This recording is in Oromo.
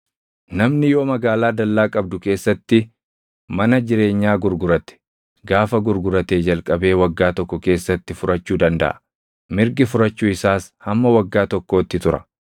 “ ‘Namni yoo magaalaa dallaa qabdu keessatti mana jireenyaa gurgurate, gaafa gurguratee jalqabee waggaa tokko keessatti furachuu dandaʼa. Mirgi furachuu isaas hamma waggaa tokkootti tura.